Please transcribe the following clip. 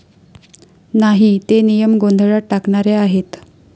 नाही. ते नियम गोंधळात टाकणारे आहेत.